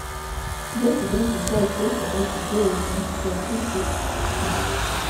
двести тридцать шесть триста тридцать девять семьдесят три три пятнадцать